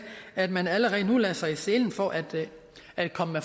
at man allerede nu lagde sig i selen for at at komme